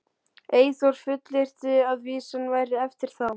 Eyþór fullyrti að vísan væri eftir þá